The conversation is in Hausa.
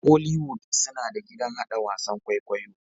Hollywood suna da gidan hada wasan kwaikwayo